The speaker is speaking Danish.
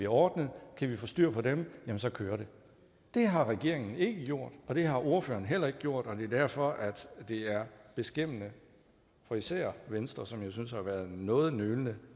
ordnet og kan vi få styr på dem så kører det det har regeringen ikke gjort og det har ordføreren heller ikke gjort og det er derfor at det er beskæmmende for især venstre som jeg synes har været noget nølende